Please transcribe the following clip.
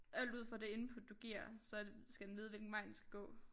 Alt ud fra det input du giver så skal den vide hvilken vej den skal gå